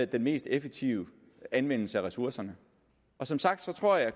den mest effektive anvendelse af ressourcerne og som sagt tror jeg